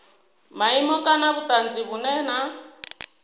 maimo kana vhutanzi vhunwe na